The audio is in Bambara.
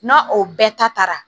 N'a o bɛɛ ta taara